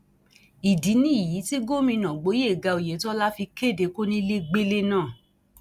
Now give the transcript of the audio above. ìdí nìyí tí gómìnà gboyega oyetola fi kéde kónílégbélé náà